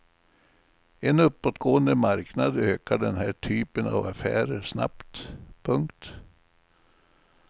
I en uppåtgående marknad ökar den här typen av affärer snabbt. punkt